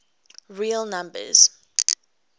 real numbers